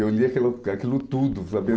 Eu li aquilo aquilo tudo, sabia?